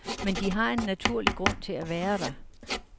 Men de har en naturlig grund til at være der.